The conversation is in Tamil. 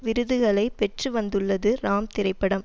விருதுகளை பெற்று வந்துள்ளது ராம் திரைப்படம்